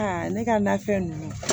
Aa ne ka nafɛn ninnu